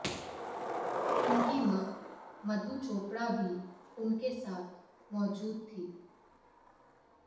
उनकी मां मधु चोपड़ा भी उनके साथ मौजूद थीं